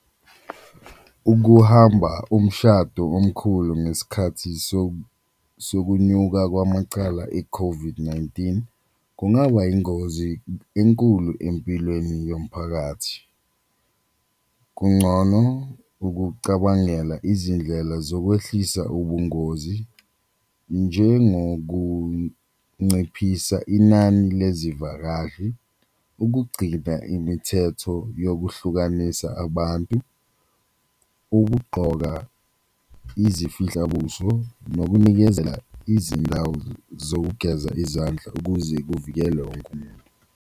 Ukuhamba umshado omkhulu ngesikhathi sokunyuka kwamacala e-COVID-19 kungaba ingozi enkulu empilweni yomphakathi, kuncono ukucabangela izindlela zokwehlukanisa ubungozi njengokunciphisa inani lezivakashi, ukugcina imithetho yokuhlukanisa abantu. Ukugqoka izifihlabuso nokunikezela izindawo zokugeza izandla ukuze kuvikelwe wonke umuntu.